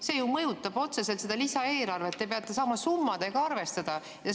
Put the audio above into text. See mõjutab ju otseselt lisaeelarvet, te peate saama summadega arvestada.